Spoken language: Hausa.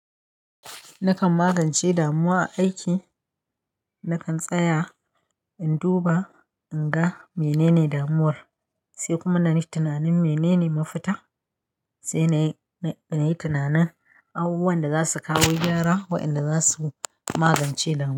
Nakan magance damuwa a aiki, nakan tsaya in duba, in ga menene damuwar, sai kuma na yi tunanin menene mafita, sai na yi tunanin abubuwan da za su kawo gyara wa'inda za su magance damuw--